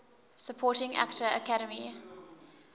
supporting actor academy